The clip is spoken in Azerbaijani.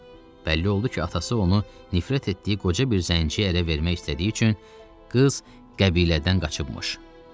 Bəlli oldu ki, atası onu nifrət etdiyi qoca bir zənciyə ərə vermək istədiyi üçün qız qəbilədən qaçıbmış.